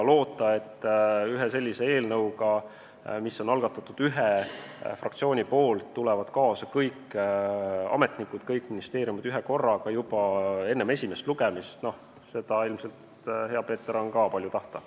Loota, et ühe sellise eelnõuga, mille on algatanud üks fraktsioon, tulevad kaasa kõik ametnikud ja kõik ministeeriumid ühekorraga juba enne esimest lugemist – no seda on ilmselt, hea Peeter, palju tahta.